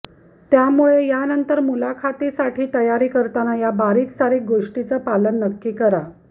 त्यामुळे यानंतर मुलाखतीसाठी तयारी करताना या बारिकसारीक गोष्टीचं पालन नक्की करा